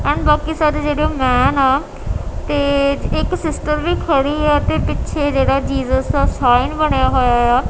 And ਬਾਕੀ ਸਾਰੇ ਜਿਹੜੇ ਮੈਂਨ ਆ ਤੇ ਇੱਕ ਸਿਸਟਰ ਵੀ ਖੜੀ ਹੈ ਤੇ ਪਿੱਛੇ ਜਿਹੜਾ ਜੀਸਸ ਦਾ ਸਾਈਨ ਬਣਿਆ ਹੋਇਆ ਆ।